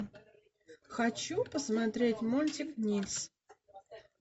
хочу посмотреть мультик нильс